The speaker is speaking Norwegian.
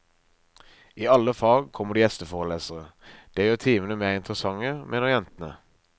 I alle fag kommer det gjesteforelesere, det gjør timene mer interessante, mener jentene.